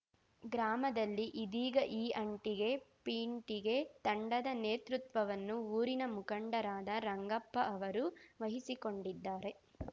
ಗ್ರಾಮದಲ್ಲಿ ಇದೀಗ ಈ ಅಂಟಿಗೆ ಪಿಂಟಿಗೆ ತಂಡದ ನೇತೃತ್ವವನ್ನು ಊರಿನ ಮುಖಂಡರಾದ ರಂಗಪ್ಪ ಅವರು ವಹಿಸಿಕೊಂಡಿದ್ದಾರೆ